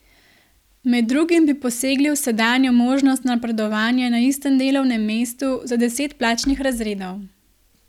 Med drugim bi posegli v sedanjo možnost napredovanja na istem delovnem mestu za deset plačnih razredov.